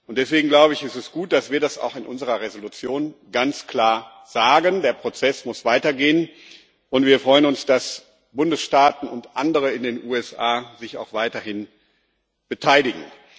Deswegen, glaube ich, ist es gut, dass wir das in unserer Entschließung auch ganz klar sagen Der Prozess muss weitergehen, und wir freuen uns, dass sich Bundesstaaten und andere in den USA auch weiterhin beteiligen.